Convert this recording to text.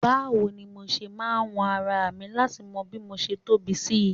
Báwo ni mo ṣe máa wọn ara mi láti mọ bí mo ṣe tóbi sí